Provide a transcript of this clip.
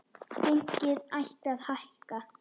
Gengið ætti að hækka.